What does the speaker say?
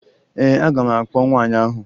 Ee, aga m akpọ nwaanyị ahụ